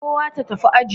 Kowa ta tafi aji.